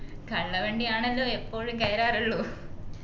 കള്ളവണ്ടിയാണല്ലോ എപ്പോഴും കയറാറുള്ളു